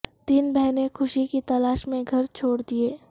تین بہنیں خوشی کی تلاش میں گھر چھوڑ دیں